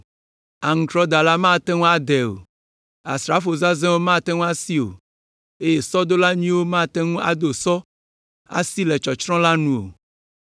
Aŋutrɔdala manɔ te adae o, asrafo zazɛ̃wo mate ŋu asi o, eye sɔdola nyuitɔ mate ŋu ado sɔ asi le tsɔtsrɔ̃ la nu o.